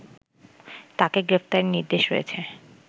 তাকে গ্রেফতারের নির্দেশ রয়েছে